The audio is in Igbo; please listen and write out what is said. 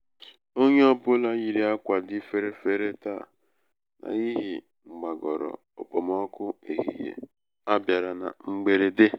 onye ọ bụla yiiri ákwà dị ferefere taa n'ihi mgbagoro okpomọkụ ehihie a bịara na mgberede.